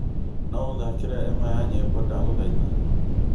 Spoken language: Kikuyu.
No ũthakĩre ĩmwe ya nyĩmbo ndagũthaitha